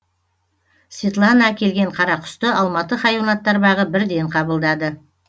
светлана әкелген қарақұсты алматы хайуанаттар бағы бірден қабылдады